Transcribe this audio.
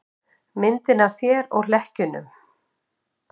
Myndina af þér og hlekkjunum.